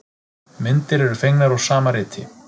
Myndir eru fengnar úr sama riti.